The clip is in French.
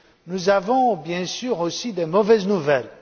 Nous avons bien sûr aussi de mauvaises nouvelles.